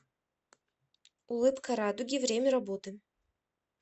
улыбка радуги время работы